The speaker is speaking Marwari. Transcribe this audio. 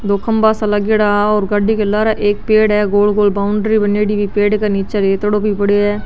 दो खम्भा सा लागियोडा है और गाड़ी के लारे एक पेड़ है गोल गोल बाउंड्री बानेडी है पेड़ के निचे रेतडो भी पडियो है।